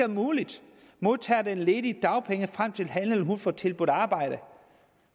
muligt modtager den ledige dagpenge frem til han eller hun får tilbudt arbejde